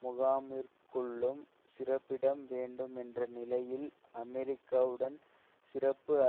முகாமிற்குள்ளும் சிறப்பிடம் வேண்டும் என்ற நிலையில் அமெரிக்காவுடன் சிறப்பு